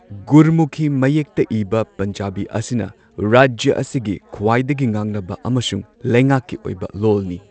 ꯒꯨꯔꯃꯨꯈꯤ ꯃꯌꯦꯛꯇ ꯏꯕ ꯄꯟꯖꯥꯕꯤ ꯑꯁꯤꯅ ꯔꯥꯖ꯭ꯌ ꯑꯁꯤꯒꯤ ꯈ꯭ꯋꯥꯏꯗꯒꯤ ꯉꯥꯡꯅꯕ ꯑꯃꯁꯨꯡ ꯂꯩꯉꯥꯛꯀꯤ ꯑꯣꯏꯕ ꯂꯣꯜꯅꯤ꯫